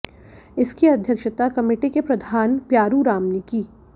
इसकी अध्यक्षता कमेटी के प्रधान प्यारू राम ने की